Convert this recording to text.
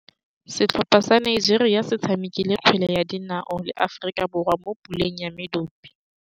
Setlhopha sa Nigeria se tshamekile kgwele ya dinaô le Aforika Borwa mo puleng ya medupe.